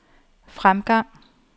fremgang